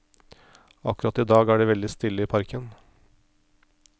Akkurat i dag er det veldig stille i parken.